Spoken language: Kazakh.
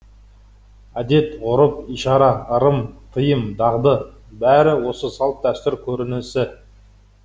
әдет ғұрып ишара ырым тыйым дағды бәрі осы салт дәстүр көрінісі